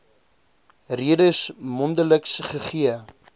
redes mondeliks gegee